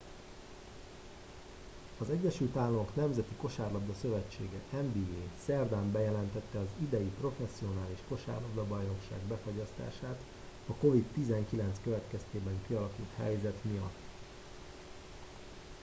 az egyesült államok nemzeti kosárlabda szövetsége nba szerdán bejelentette az idei professzionális kosárlabdabajnokság befagyasztását a covid-19 következtében kialakult helyzet miatt